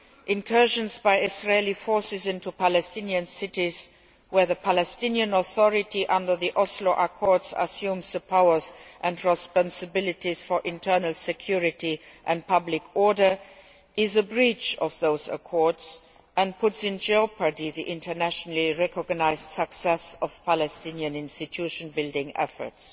Incursions by Israeli forces into Palestinian cities where the Palestinian Authority, under the Oslo Accords, assumes the powers and responsibilities for internal security and public order are a breach of those accords and puts in jeopardy the internationally recognised success of Palestinian institution building efforts.